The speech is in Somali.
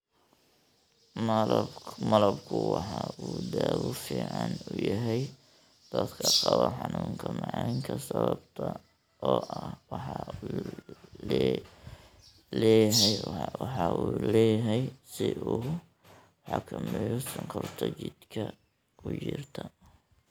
Malabku waxa uu dawo fiican u yahay dadka qaba xanuunka macaanka sababta oo ah waxa uu leeyahay si uu u xakameeyo sonkorta jidhka ku jirta.